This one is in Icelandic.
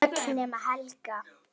Öll nema Helga.